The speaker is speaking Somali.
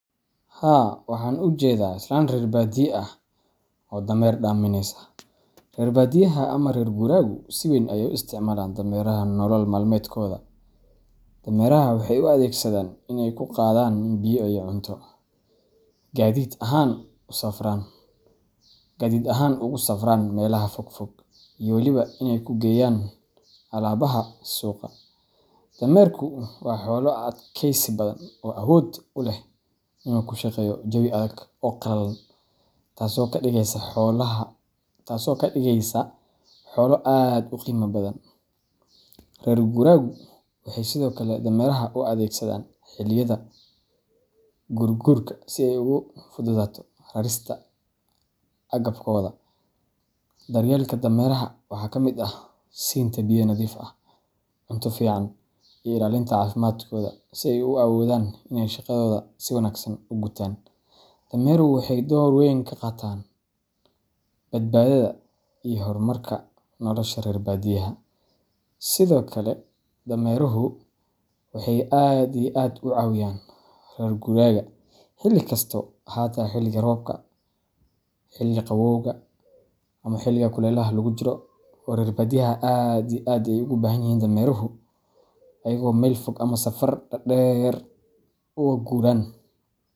Haa waxan jedaa islan rer badiyo ah oo damer daminesa. Reer badiyaha ama reer guuraagu si weyn ayay u isticmaalaan dameeraha nolol maalmeedkooda. Dameeraha waxay u adeegsadaan in ay ku qaadaan biyo iyo cunto, gaadiid ahaan ugu safraan meelaha fogfog, iyo weliba in ay ku geeyaan alaabaha suuqa. Dameerku waa xoolo adkaysi badan oo awood u leh inuu ku shaqeeyo jawi adag oo qallalan, taasoo ka dhigaysa xoolo aad u qiimo badan. Reer guuraagu waxay sidoo kale dameeraha u adeegsadaan xilliyada guurguurka si ay ugu fududaato rarista agabkooda. Daryeelka dameeraha waxaa ka mid ah siinta biyo nadiif ah, cunto fiican, iyo ilaalinta caafimaadkooda si ay u awoodaan inay shaqadooda si wanaagsan u gutaan. Dameeruhu waxay door weyn ka qaataan badbaadada iyo horumarka nolosha reer badiyaha. Sidokale dameruhu waxey rer guragu si aad iyo aad ah u cawiyaan rer guragu xili kasta ,ahata xiliga robka, xiliga qawowga, xiliga kulelaha lagu jiro oo rer badiyaha aad iyo aad ay ugu bahan yihin dameruhu ayago mel fog ama safar dader ugu guran.